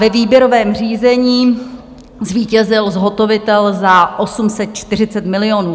Ve výběrovém řízení zvítězil zhotovitel za 840 milionů.